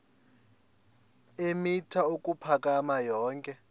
eemitha ukuphakama yonke